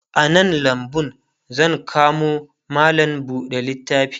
a nan lambu zan kamo mallam buɗe littafi